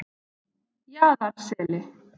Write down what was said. Jaðarseli